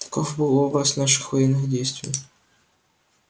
таков был образ наших военных действий